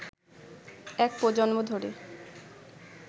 এক প্রজন্ম ধরে